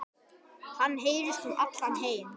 Hann heyrist um allan heim.